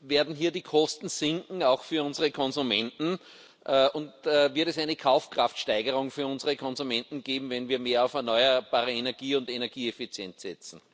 Werden hier die Kosten auch für unsere Konsumenten sinken? Und wird es eine Kaufkraftsteigerung für unsere Konsumenten geben, wenn wir mehr auf erneuerbare Energie und Energieeffizienz setzen?